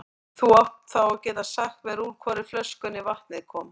Þú átt þá að geta sagt mér úr hvorri flöskunni vatnið kom.